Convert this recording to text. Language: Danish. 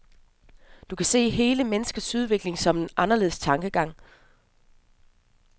Du kan se hele menneskets udvikling som en anderledes tankegang.